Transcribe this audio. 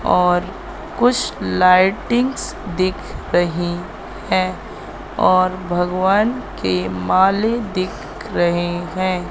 और कुछ लाइटिंग्स दिख रही हैं और भगवान के माले दिख रहे हैं।